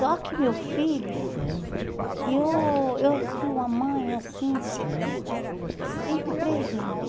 Só que meu filho, e eu eu fui uma mãe assim, sempre presente.